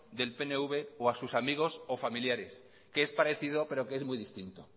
del pnv o a sus amigos o familiares que es parecido pero que es muy distinto